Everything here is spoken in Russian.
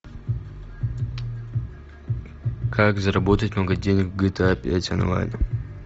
как заработать много денег в гта пять онлайн